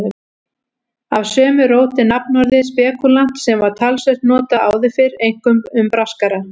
Af sömu rót er nafnorðið spekúlant sem var talsvert notað áður fyrr, einkum um braskara.